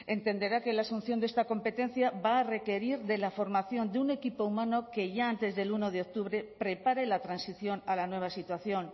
entenderá que la asunción de esta competencia va a requerir de la formación de un equipo humano que ya antes del uno de octubre prepare la transición a la nueva situación